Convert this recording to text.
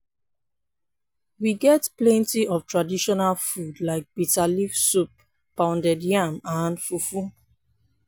we get plenty of traditional food like biterleaves soup pounded yam and fufu.